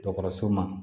Dɔgɔtɔrɔso ma